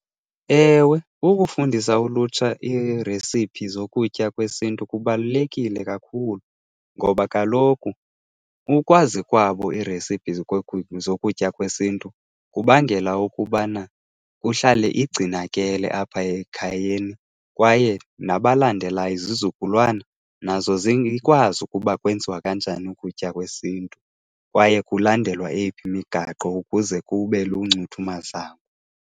Ewe, ukufundisa ulutsha iiresiphi zokutya kwesiNtu kubalulekile kakhulu ngoba kaloku ukwazi kwabo iresipi zokutya kwesintu kubangela ukubana kuhlale igcinakele apha ekhayeni kwaye nabalandelayo izizukulwana, nazo zikwazi ukuba kwenziwa kanjani ukutya kwesiNtu kwaye kulandelwe eyiphi imigaqo ukuze kube luncuthu mazangwa.